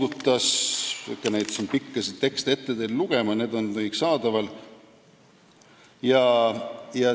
Ma ei hakka siin neid pikki tekste teile ette lugema, need on kõik saadaval.